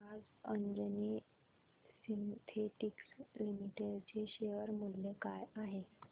आज Anjani synthetics limited चे share मूल्य काय आहे